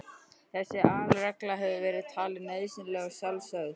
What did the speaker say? Þessi aðalregla hefur verið talin nauðsynleg og sjálfsögð.